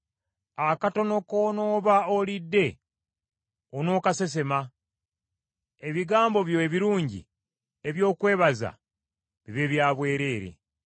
Akatono k’onooba olidde onookasesema, ebigambo byo ebirungi eby’okwebaza bibe bya bwereere.